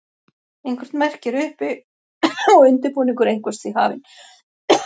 Eitthvert merki er uppi og undirbúningur einhvers því hafinn.